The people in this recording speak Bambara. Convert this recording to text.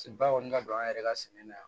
Se ba kɔni ka don an yɛrɛ ka sɛnɛ na yan